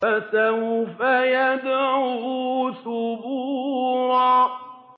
فَسَوْفَ يَدْعُو ثُبُورًا